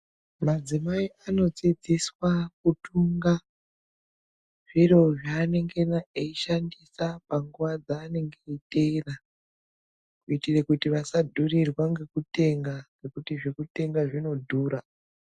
Madzimai anodzidziswa kutunga zviro zvaanenge eishandisa panguwa dzaanenge eiteera kuita kuti asadhurirwe ngekutenga, ngekuti zvekutenga zvinodhura.